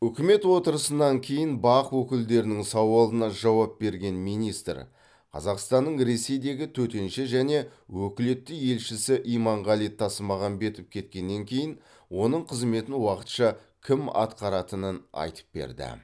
үкімет отырысынан кейін бақ өкілдерінің сауалына жауап берген министр қазақстанның ресейдегі төтенше және өкілетті елшісі иманғали тасмағамбетов кеткеннен кейін оның қызметін уақытша кім атқаратынын айтып берді